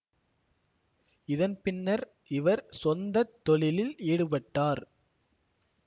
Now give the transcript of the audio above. இதன் பின்னர் இவர் சொந்தத் தொழிலில் ஈடுபட்டார்